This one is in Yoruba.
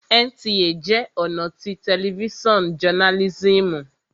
NTA jẹ́ ọ̀nà tí tẹlifísàn jọnálísìmù